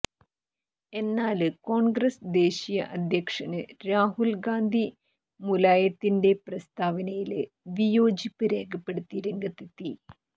എന്നാല് കോണ്ഗ്രസ് ദേശീയ അദ്ധ്യക്ഷന് രാഹുല് ഗാന്ധി മുലായത്തിന്റെ പ്രസ്താവനയില് വിയോജിപ്പ് രേഖപ്പെടുത്തി രംഗത്തെത്തി